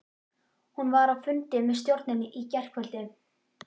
Hann var á fundi með stjórninni í gærkvöldi.